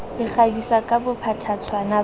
le kgabisa ka bophatshwana ba